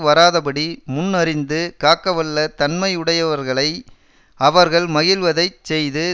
வாராதபடி முன் அறிந்து காக்கவல்ல தன்மையுடையவர்களை அவர்கள் மகிழ்வதை செய்து